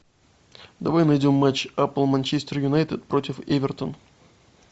давай найдем матч апл манчестер юнайтед против эвертон